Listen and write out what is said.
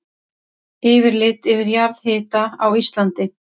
Yfirlit yfir jarðhita á Íslandi.